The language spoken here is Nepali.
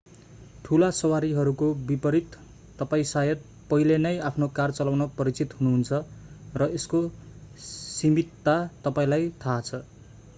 ठूला सवारीहरूको विपरित तपाईं शायद पहिले नै आफ्नो कार चलाउन परिचित हुनुहुन्छ र यसको सीमितता तपाईंलाई थाहा छ